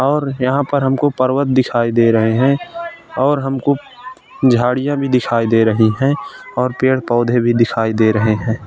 और यहाँ पर हमको पर्वत दिखायी दे रहे हैं और हमको झाड़ियाँ भी दिखायी दे रही हैं और पेड़ पौधे भी दिखायी दे रहे हैं।